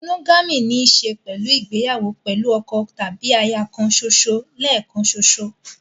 Monogamy ní í ṣe pẹ̀lú ìgbéyàwó pẹ̀lú ọkọ tàbí aya kan ṣoṣo lẹ́ẹ̀kan ṣoṣo.